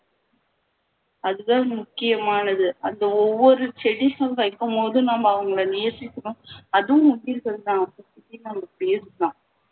அதுதான் முக்கியமானது அந்த ஒவ்வொரு செடியும் வைக்கும் போது நம்ம அவங்களை நேசிக்கணும் அதுவும் முக்கியம்